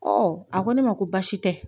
a ko ne ma ko baasi tɛ